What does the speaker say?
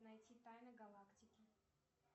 найти тайны галактики